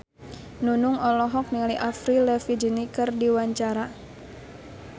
Nunung olohok ningali Avril Lavigne keur diwawancara